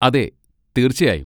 അതെ, തീർച്ചയായും.